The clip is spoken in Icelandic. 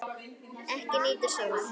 Ekki nýtur sólar.